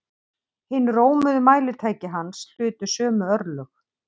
Hin rómuðu mælitæki hans hlutu sömu örlög.